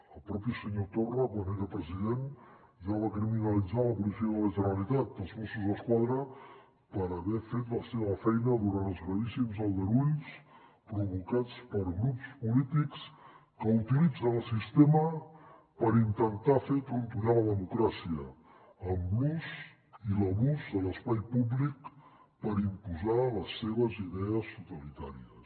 el propi senyor torra quan era president ja va criminalitzar la policia de la generalitat els mossos d’esquadra per haver fet la seva feina durant els gravíssims aldarulls provocats per grups polítics que utilitzen el sistema per intentar fer trontollar la democràcia amb l’ús i l’abús de l’espai públic per imposar les seves idees totalitàries